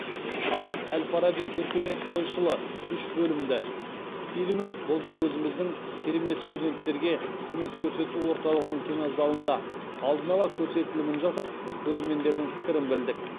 ал әл фараби өркениет ойшылы үш бөлімді фильмін былтыр өзіміздің керемет студенттерге қызмет көрсету орталығының кинозалында алдын ала көрсетілімін жасап көрермендердің пікірін білдік